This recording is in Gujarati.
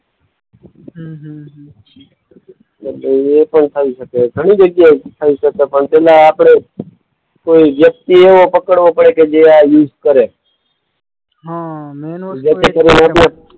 હમ્મ હમ્મ હમ્મ. પણ થઈ શકે. ઘણી જગ્યાએ થઈ શકે પણ પહેલા આપણે કોઈ વ્યક્તિ એવો પકડવો પડે કે જે આ યુઝ કરે. હા મેઈન વસ્તુ